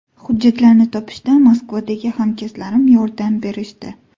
Hujjatlarni topishda Moskvadagi hamkasblarim yordam berishdi.